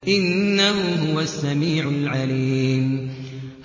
إِنَّهُ هُوَ السَّمِيعُ الْعَلِيمُ